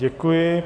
Děkuji.